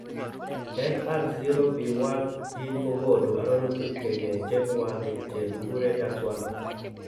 Nr0b1 gene ko konu arorutik the kechep mwanik che kikure dax1.